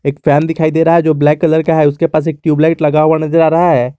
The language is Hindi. फैन दिखाई दे रहा है जो ब्लैक कलर का उसके पास एक टीयूब लाईट लगा हुआ नजर आ रहा है।